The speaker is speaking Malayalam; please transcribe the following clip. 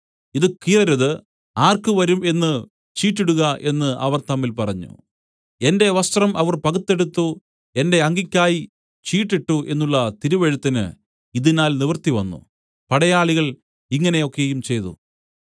ഇതു കീറരുത് ആർക്ക് വരും എന്നു ചീട്ടിടുക എന്നു അവർ തമ്മിൽ പറഞ്ഞു എന്റെ വസ്ത്രം അവർ പകുത്തെടുത്തു എന്റെ അങ്കിക്കായി ചീട്ടിട്ടു എന്നുള്ള തിരുവെഴുത്തിന് ഇതിനാൽ നിവൃത്തിവന്നു പടയാളികൾ ഇങ്ങനെ ഒക്കെയും ചെയ്തു